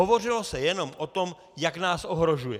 Hovořilo se jenom o tom, jak nás ohrožuje.